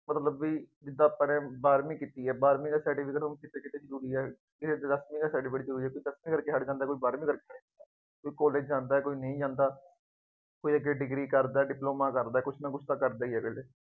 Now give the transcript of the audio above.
ਪਰ ਜਿਦਾਂ ਪੜ੍ਹਿਆ ਨਹੀਂ, ਬਾਰਵੀਂ ਕੀਤੀ ਹੈ, ਬਾਰਵੀਂ ਦਾ ਸਰਟੀਫਿਕੇਟ ਹੁਣ ਕਿੱਥੇ ਕਿੱਥੇ ਜ਼ਰੂਰੀ ਹੈ। ਕਿਸੇ ਚ ਦੱਸਵੀਂ ਦਾ ਸਰਟੀਫਿਕੇਟ ਜ਼ਰੂਰੀ ਹੈ। ਕੋਈ ਪਿੱਛੇ ਹੋ ਕੇ ਹੱਟ ਜਾਂਦਾ, ਕੋਈ ਪੜ੍ਹਨ ਲੱਗ ਜਾਂਦਾ, ਕੋਈ ਕਾਲਜ ਜਾਂਦਾ, ਕੋਈ ਨਹੀਂ ਜਾਂਦਾ, ਕੋਈ ਅਜੇ ਡਿਗਰੀ ਕਰਦਾ, ਡਿਪਲੋਮਾ ਕਰਦਾ, ਕੁੱਝ ਨਾ ਕੁੱਝ ਤਾਂ ਕਰਦਾ ਹੀ ਹੈ।